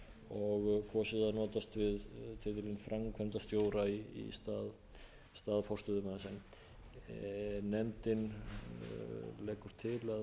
og kosið að notast við biðlaun framkvæmdastjóra í stað forstöðumanns meiri hætti nefndarinnar leggur til